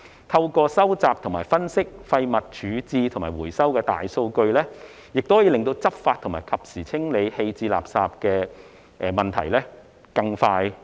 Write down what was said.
透過收集、分析廢物處置及回收的大數據，亦可以更快地到位解決執法和及時清理棄置垃圾的問題。